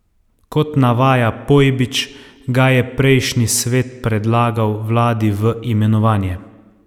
Kot navaja Pojbič, ga je prejšnji svet predlagal vladi v imenovanje.